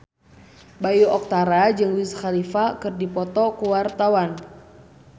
Bayu Octara jeung Wiz Khalifa keur dipoto ku wartawan